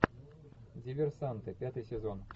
диверсанты пятый сезон